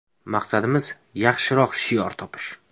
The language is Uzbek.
– Maqsadimiz yaxshiroq shior topish.